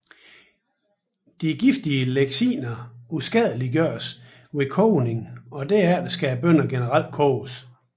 De giftige lectiner uskadeliggøres ved kogning og derfor skal bønner generelt koges